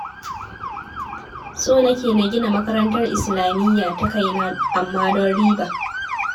So nake na gina makarantar islamiyya ta kaina amma don riba